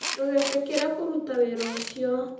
Ndũgetĩkĩre kũruta wĩra ũcio